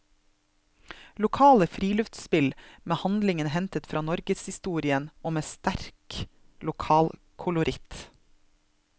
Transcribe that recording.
Lokale friluftsspill, med handlingen hentet fra norgeshistorien og med sterk lokalkoloritt.